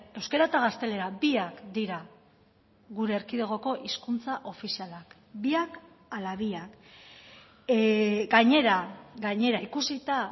euskara eta gaztelera biak dira gure erkidegoko hizkuntza ofizialak biak hala biak gainera gainera ikusita